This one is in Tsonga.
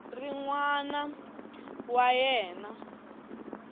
ri n wana wa yena